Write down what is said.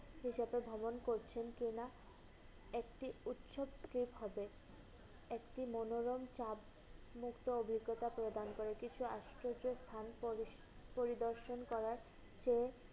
সেই সাথে ভ্রমণ করছেন কিনা? একটি উৎচ্ছেদ কি হবে? একটি মনোরম চাপমুক্ত অভিজ্ঞতা প্রদান করে। কিছু আজকের যে পরিদর্শন করার চেয়ে